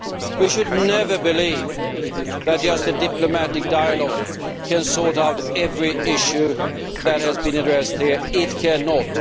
We should never believe that just a diplomatic dialogue can sort out every issue that has been addressed here it cannot.